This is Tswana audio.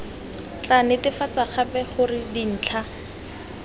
tla netefatsa gape gore dintlha